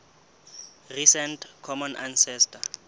recent common ancestor